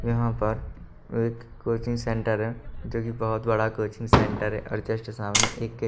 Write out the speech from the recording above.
यहाँ पर एक कोचिंग सेंटर है जो की बोहोत कोचिंग सेंटर है और जस्ट सामने एक --